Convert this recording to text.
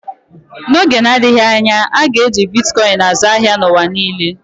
N'oge na-adịghị anya, a ga-eji Bitkọin azụ ahịa n'ụwa niile.